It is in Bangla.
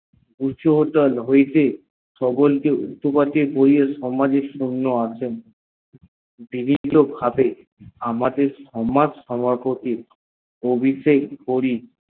উচুদল হইতে সমাজে সকল কে বিভিন্ন ভাবে আমাদের সমাজ সভাপতি অভিষেক করি